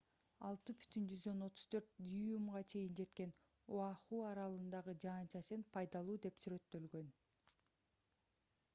6,34 дюймга чейин жеткен оаху аралындагы жаан-чачын пайдалуу деп сүрөттөлгөн